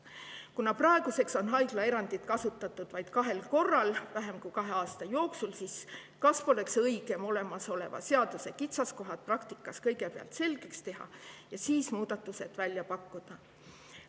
Kuna praeguseks on haiglaerandit kasutatud vähem kui kahe aasta jooksul vaid kahel korral, siis kas poleks õigem kõigepealt olemasoleva seaduse kitsaskohad praktikas selgeks teha ja siis muudatused välja pakkuda?